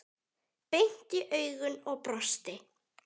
Beint í augun og brosti.